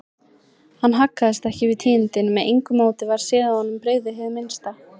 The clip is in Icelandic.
Hann haggaðist ekki við tíðindin, með engu móti varð séð að honum brygði hið minnsta.